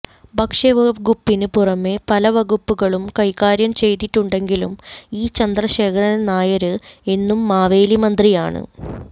ഭക്ഷ്യവകുപ്പിനു പുറമേ പല വകുപ്പുകളും കൈകാര്യം ചെയ്തിട്ടുണ്ടെങ്കിലും ഇ ചന്ദ്രശേഖരന് നായര് എന്നും മാവേലി മന്ത്രിയാണ്